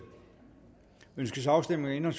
ønskes afstemning om